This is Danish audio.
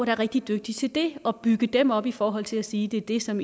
er rigtig dygtige til det og bygge dem op i forhold til at sige det er det som